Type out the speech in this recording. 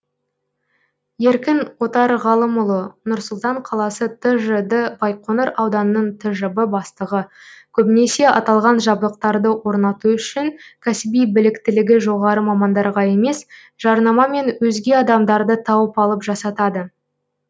еркін отарғалымұлы нұр сұлтан қаласы тжд байқоңыр ауданының тжб бастығы көбінесе аталған жабдықтарды орнату үшін кәсіби біліктілігі жоғары мамандарға емес жарнамамен өзге адамдарды тауып алып жасатады